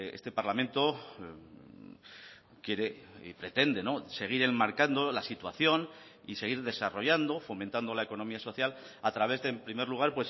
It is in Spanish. este parlamento quiere y pretende seguir enmarcando la situación y seguir desarrollando fomentando la economía social a través de en primer lugar